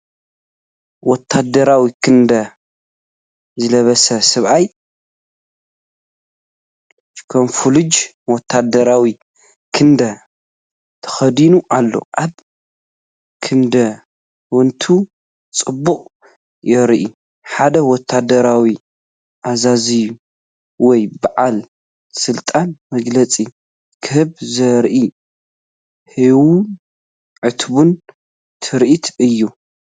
ወተሃደራዊ ክዳን ዝለበሰ ሰብኣይ ካሞፍላጅ ወተሃደራዊ ክዳን ተኸዲኑ ኣሎ። ኣብ ክዳውንቱ ጽሑፍ ይርአ። ሓደ ወተሃደራዊ ኣዛዚ ወይ በዓል ስልጣን መግለጺ ክህብ ዘርኢ ህያውን ዕቱብን ትርኢት እዩ።